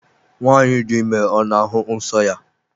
nwanyi di ime ọ n'ahụ nsọ ya?